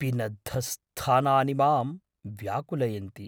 पिनद्धस्थानानि मां व्याकुलयन्ति।